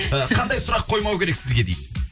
і қандай сұрақ қоймау керек сізге дейді